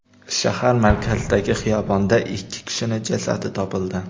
Shahar markazidagi xiyobonda ikki kishining jasadi topildi.